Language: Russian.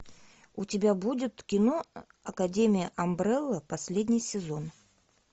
у тебя будет кино академия амбрелла последний сезон